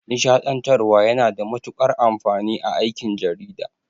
Nishaɗantarwa yana da matuƙar amfani a aikin jarida.